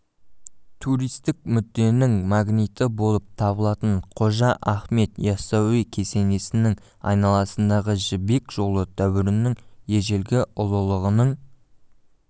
туристік мүдденің магниті болып табылатын қожа ахмет ясауи кесенесінің айналасындағы жібек жолы дәуірінің ежелгі ұлылығының